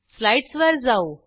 स्लाईडसवर जाऊ